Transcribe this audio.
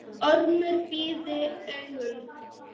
Ormur pírði augun.